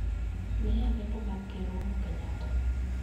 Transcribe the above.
Miya lendo mag ker uhuru kenyatta